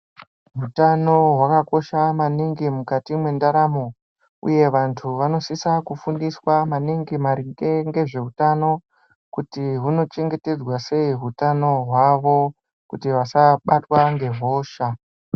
Hutano hwakakosha maningi mukati mwendaramo uye vantu vanosisa kufundiswa maningi maringe ngezvehutano kuti unochengetedzwa sei hutano hwavo kuti vasabatwa ngehosha.